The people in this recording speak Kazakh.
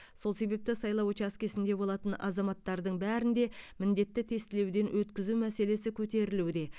сол себепті сайлау учаскесінде болатын азаматтардың бәрін де міндетті тестілеуден өткізу мәселесі көтерілуде